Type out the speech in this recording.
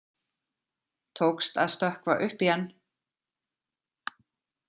Tókst að stökkva upp í hann.